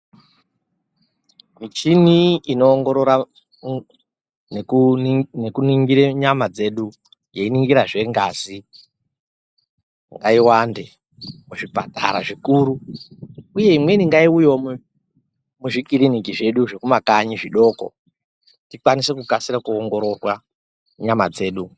Michini inoongorora nekuningira nyama dzedu, yeiningirazve ngazi ngaiwande muzvipatara zvikuru uye imweni ngaiuye muzvikiriniki zveduzvo zvemumakanyi zvidoko, tikwanise kukasira kuongororwa nyama dzedu.